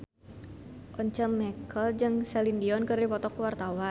Once Mekel jeung Celine Dion keur dipoto ku wartawan